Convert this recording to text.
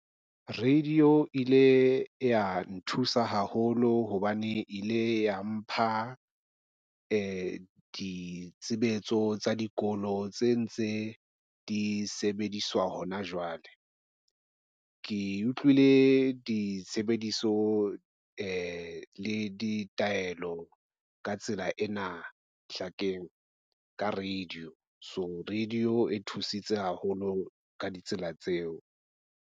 Radio ile ya nthusa haholo hobane e ile ya mpha ditshebetso tsa dikolo tse ntse di sebediswa hona jwale. Ke utlwile ditshebediso le ditaelo ka tsela ena ka radio. So radio e thusitse haholo ka ditsela tseo.